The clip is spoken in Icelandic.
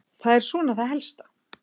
Það er svona það helsta.